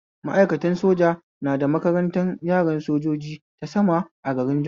Ma'aikatan soja na da makarantan yaran sojoji ta sama a garin Jos